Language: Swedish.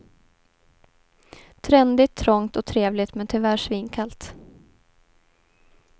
Trendigt, trångt och trevligt men tyvärr svinkallt.